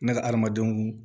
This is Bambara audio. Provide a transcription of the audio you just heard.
Ne ka adamadenw